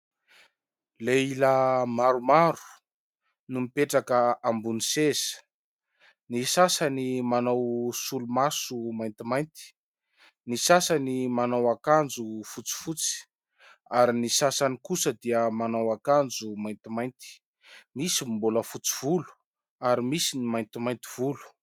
Lehilahy maromaro no mipetraka ambony seza. Ny sasany manao solomaso maintimainty, ny sasany manao akanjo fotsifotsy ary ny sasany kosa dia manao akanjo maintimainty. Misy ny mbola fotsy volo ary misy ny maintimainty volo.